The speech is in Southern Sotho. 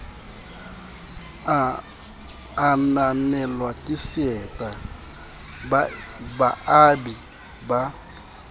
ananelwa ke seta baabi ba